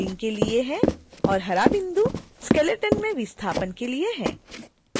और हरा बिंदु skeleton में विस्थापन के लिए है